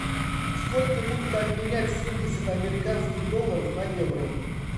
сколько будет обменять семьдесят американских долларов на евро